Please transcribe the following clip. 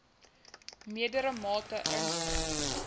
meerdere mate inspring